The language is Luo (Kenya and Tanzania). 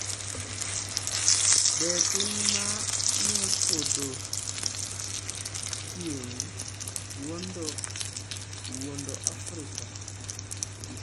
Be piny ma yo podho chieng’ wuondo Afrika?